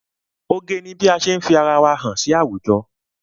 Oge ni bí ase fi ara wa hàn sí àwùjọ.